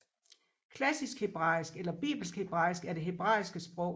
Klassisk hebraisk eller bibelsk hebraisk er det hebraiske sprog